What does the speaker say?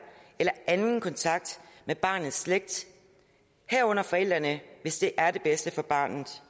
eller anden kontakt med barnets slægt herunder forældrene hvis det er det bedste for barnet